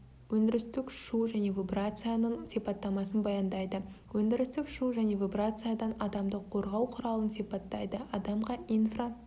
өндірістік шу және вибрацияның сипаттамасын баяндайды өндірістік шу және вибрациядан адамды қорғау құралын сипаттайды адамға инфра